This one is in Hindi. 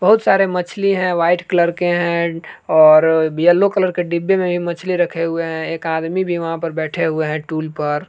बहुत सारे मछली है वाइट कलर के है और येलो कलर के डिब्बे में भी मछली रखे हुए है एक आदमी भी वहां पर बैठे हुए है टूल पर।